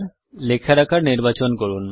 লেখার আকার নির্বাচন করুন